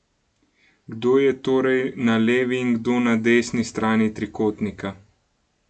Kdo je torej na levi in kdo na desni strani trikotnika?